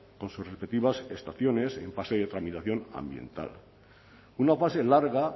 con sus respectivas estaciones en fase de tramitación ambiental una fase larga